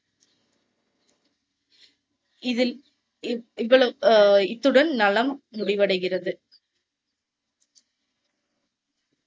இதில், இவ்~ இவ்வளவு, அஹ் இத்துடன் நலம் முடிவடைகிறது.